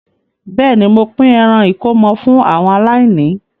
Bẹ́ẹ̀ ni, mo pín ẹran ìkómọ fú àwọn aláìní.